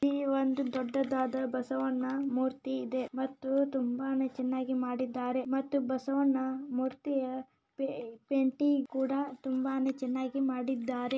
ಇಲ್ಲಿ ಒಂದು ದೊಡ್ಡದಾದ ಬಸವಣ್ಣ ಮೂರ್ತಿ ಇದೆ ಮತ್ತು ತುಂಬನೆ ಚೆನ್ನಾಗಿ ಮಾಡಿದಾರೆ ಮತ್ತು ಬಸವಣ್ಣ ಮೂರ್ತಿಯ ಪೆಂಟಿಂಗ್ ಕುಡ ತುಂಬನೆ ಚೆನ್ನಾಗಿ ಮಾಡಿದಾರೆ.